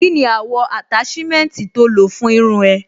Kí ni àwọ̀ àtáṣímẹ́ǹtì tó lò fún irun ẹ?